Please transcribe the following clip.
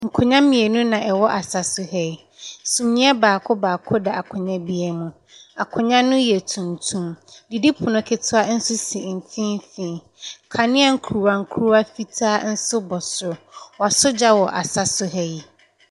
Nkonnwa mmienu na ɛwɔ asa so ha yi. Summiiɛ baako baako da akonnwa biara mu. Akonnwa no yɛ tuntum. Didipono ketewa nso si mfimfini. Kanea nkuruwa nkuruwa fitaa nso bɔ so. Wɔasɔ gya wɔ asa so ha yi.